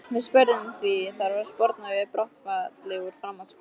Við spurðum því, þarf að sporna við brottfalli úr framhaldsskólum?